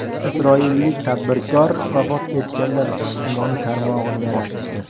Isroillik tadbirkor vafot etganlar ijtimoiy tarmog‘ini yaratdi.